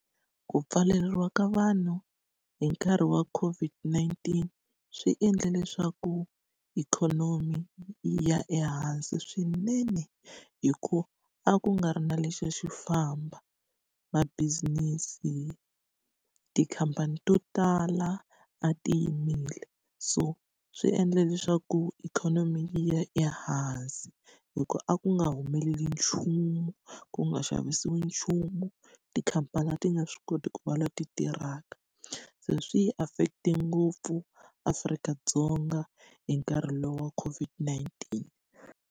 Ku pfaleriwa ka vanhu hi nkarhi wa COVID-19 swi endle leswaku ikhonomi yi ya ehansi swinene, hikuva a ku nga ri na lexi a xi famba. Ma business-i, tikhampani to tala a ti yimile. So swi endle leswaku ikhonomi yi ya ehansi, hikuva a ku nga humeleli nchumu, ku nga xa xavisiwi nchumu, tikhampani a ti nga swi koti ku va leti tirhaka. Se swi yi affect-e ngopfu Afrika-Dzonga hi nkarhi lowu wa COVID-19.